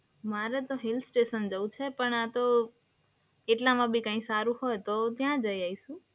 મારે તો હિલસ્ટેશન જવું છે પણ આ તો એટલામાંબી કઈ સારું હોય તો ત્યાં જઈ આઈશું.